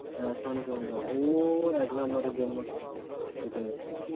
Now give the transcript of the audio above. হ্যাঁ শান্তনুদা ও এক number এর জন্য কেটে গেছে,